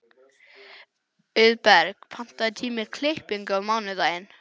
Auðberg, pantaðu tíma í klippingu á mánudaginn.